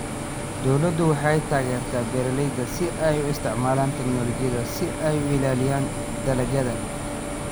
Dawladdu waxay taageertaa beeralayda si ay u isticmaalaan tignoolajiyada si ay u ilaaliyaan dalagyada.